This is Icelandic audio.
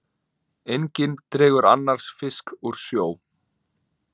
Enginn dregur annars fisk úr sjó.